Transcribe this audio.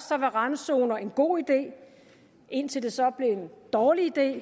randzoner en god idé indtil det så blev en dårlig idé